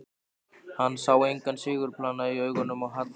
Hann sá engan sigurglampa í augunum á Halla.